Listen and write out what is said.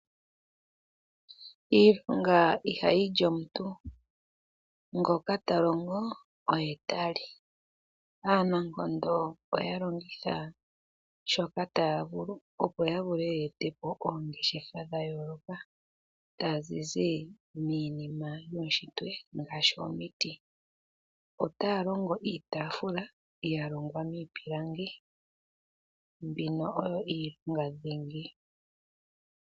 Iilonga ihayi li omuntu ngoka ta longo oye ta li. Aanankondo oya longitha shoka taya vulu opo ya vule ya ete po oongeshefa dhayooloka tadhi zi miinima yuushitwe ngaashi omiti. Otaya longo iitafula ya longwa miipilangi mbino oyo iilonga dhingi.